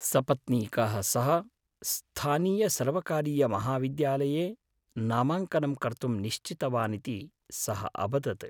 सपत्नीकः सः स्थानीयसर्वकारीयमहाविद्यालये नामाङ्कनं कर्तुं निश्चितवानिति सः अवदत्।